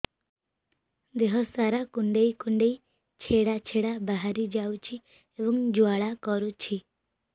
ଦେହ ସାରା କୁଣ୍ଡେଇ କୁଣ୍ଡେଇ ଛେଡ଼ା ଛେଡ଼ା ବାହାରି ଯାଉଛି ଏବଂ ଜ୍ୱାଳା କରୁଛି